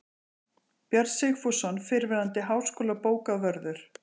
Björn Sigfússon, fyrrverandi háskólabókavörður